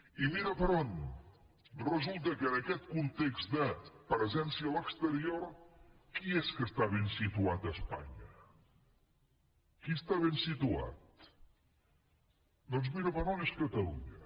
i ves per on resulta que en aquest context de presència a l’exterior qui és que està ben situat a espanya qui està ben situat doncs ves per on és catalunya